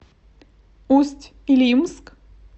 усть илимск